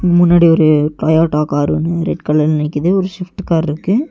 அங் முன்னாடி ஒரு டொயோட்டா காரொன்னு ரெட் கலர்ல நிக்குது ஒரு ஷிப்ட் கார்ருக்கு .